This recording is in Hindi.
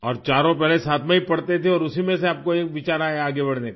और चारों पहले साथ में ही पढ़ते थे और उसी में से आपको एक विचार आया आगे बढ़ने का